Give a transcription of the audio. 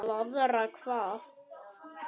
Blaðra hvað?